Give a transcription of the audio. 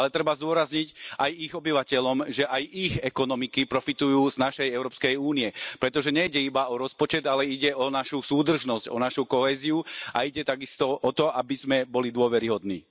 Ale treba zdôrazniť aj ich obyvateľom, že aj ich ekonomiky profitujú z našej Európskej únie, pretože nejde iba o rozpočet, ale ide o našu súdržnosť, o našu kohéziu a ide takisto o to, aby sme boli dôveryhodní.